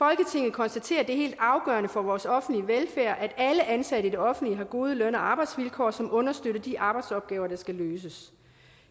konstaterer at det er helt afgørende for vores offentlige velfærd at alle ansatte i det offentlige har gode løn og arbejdsvilkår som understøtter de arbejdsopgaver der skal løses